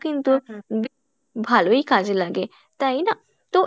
কিন্তু বেশ ভালোই কাজে লাগে তাই না? তো